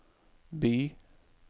by